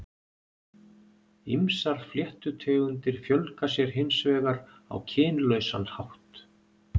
Ýmsar fléttutegundir fjölga sér hins vegar á kynlausan hátt.